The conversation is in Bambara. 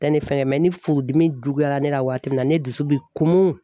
Tɛ ne fɛ ni furudimi juguyara ne la waati min na ne dusu bi kumun.